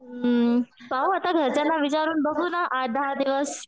हं पाहू आता घरच्यांना विचारून बघू ना आठ दहा दिवस.